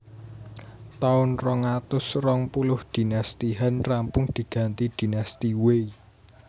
Taun rong atus rong puluh Dinasti Han rampung diganti Dinasti Wei